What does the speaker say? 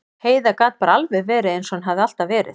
Heiða gat bara alveg verið eins og hún hafði alltaf verið.